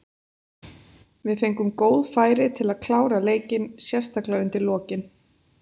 Við fengum góð færi til að klára leikinn, sérstaklega undir lokin.